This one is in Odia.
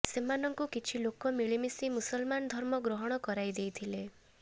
ସେମାନଙ୍କୁ କିଛି ଲୋକ ମିଳିମିଶି ମୁସଲମାନ ଧର୍ମ ଗ୍ରହଣ କରାଇଦେଇଥିଲେ